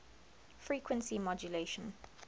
frequency modulation